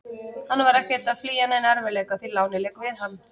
Hann var ekkert að flýja neina erfiðleika, því lánið lék við hann.